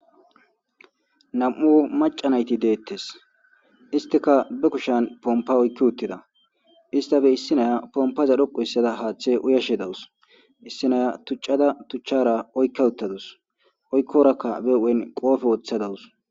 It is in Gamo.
Nam'u maca naytti detes isttikka be kushsan pompa oyki uttida istappe issinaya pompaza dhoqqu histada haththe uyasje dawus issi naya tuccafa tuchara oykka uttadus oykorokk ba huphen qope woththa dawus